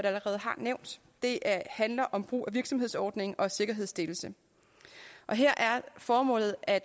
allerede har nævnt det handler om brug af virksomhedsordning og sikkerhedsstillelse og her er formålet at